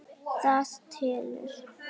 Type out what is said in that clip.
Það telur.